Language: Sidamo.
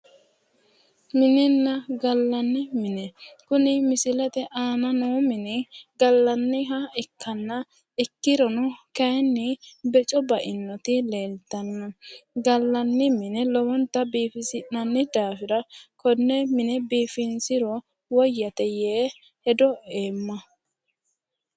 Mininna gallanni mine. Kuni misilete aana noo mini gallanniha ikkanna ikkirono kayinni beco bainoti leeltanno. Gallanni mine lowonta biifisi'nanni daafira konne mine biifinsiro woyyate yee hedo eemma.